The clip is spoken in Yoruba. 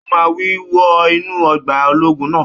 Ó máa wí! Wọ inú ọgbà ológun náà